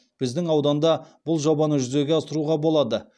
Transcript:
біздің ауданда бұл жобаны жүзеге асыруға болады